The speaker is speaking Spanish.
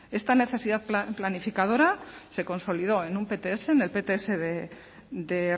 esta necesidad planificadora se consolidó en un pts en el pts de